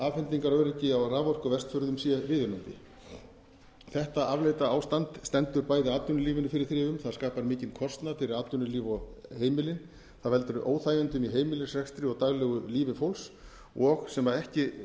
afhendingaröryggi á raforku á vestfjörðum sé viðunandi þetta afleita ástand stendur bæði atvinnulífinu fyrir þrifum það skapar mikinn kostnað fyrir atvinnulíf og heimili það veldur óþægindum í heimilisrekstri og daglegu lífi fólks og sem ekki